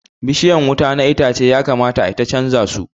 Bishiyan wuta na itace ya kamata ayi ta canja zu